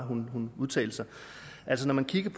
altså når man kigger i